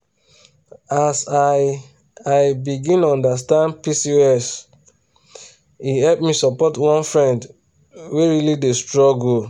as i i begin understand pcos e help me support one friend wey really dey struggle.